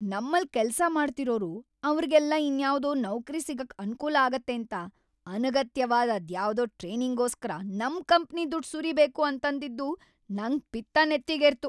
ನಮ್ಮಲ್ಲ್ ಕೆಲ್ಸ ಮಾಡ್ತಿರೋರು ಅವ್ರಿಗೆಲ್ಲ ಇನ್ಯಾವ್ದೋ ನೌಕ್ರಿ ಸಿಗಕ್‌ ಅನ್ಕೂಲ ಆಗತ್ತೇಂತ ಅನಗತ್ಯವಾದ್ ಅದ್ಯಾವ್ದೋ ಟ್ರೈನಿಂಗ್‌ಗೋಸ್ಕರ ನಮ್ ಕಂಪ್ನಿ ದುಡ್ಡ್‌ ಸುರಿಬೇಕು ಅಂತಂದಿದ್ದು‌ ನಂಗ್‌ ಪಿತ್ತ ನೇತ್ತಿಗೇರ್ತು.